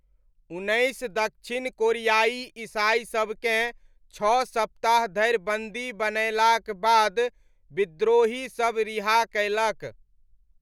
उन्नैस दक्षिण कोरियाइ ईसाइसबकेँ छओ सप्ताह धरि बन्दी बनयलाक बाद विद्रोहीसब रिहा कयलक।